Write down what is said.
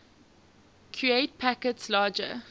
create packets larger